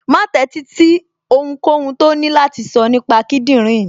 Má tẹ́sí sí ohunkóhun tó ní láti sọ nípa kíndìnrín mi